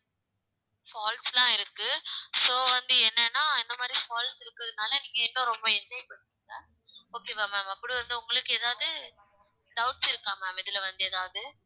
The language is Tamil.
falls லாம் இருக்கு so வந்து என்னன்னா இந்த மாதிரி falls இருக்கிறதுனால நீங்க இன்னும் ரொம்ப enjoy பண்ணுவீங்க okay வா ma'am அப்புறம் வந்து உங்களுக்கு ஏதாவது doubts இருக்கா ma'am இதுல வந்து எதாவது